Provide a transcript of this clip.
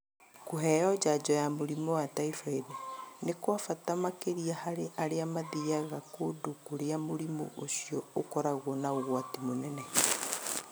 Kũheo njajo ya mũrimũ wa typhoid nĩ kwa bata makĩria harĩ arĩa mathiaga kũndũ kũrĩa mũrimũ ũcio ũkoragwo na ũgwati mũnene.